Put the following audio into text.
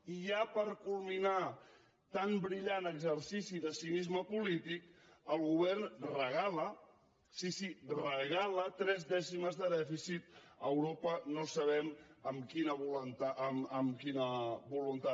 i ja per culminar tan brillant exercici de cinisme polític el govern regala sí sí regala tres dècimes de dèficit a europa no sabem amb quina voluntat